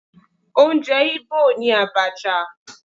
Oúnjẹ Igbo ni Abacha.